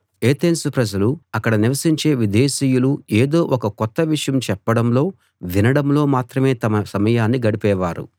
Athens ప్రజలూ అక్కడ నివసించే విదేశీయులూ ఏదో ఒక కొత్త విషయం చెప్పడంలో వినడంలో మాత్రమే తమ సమయాన్ని గడిపేవారు